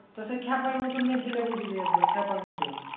তা সে খ্যাপার মতন একবার খ্যাপার মতন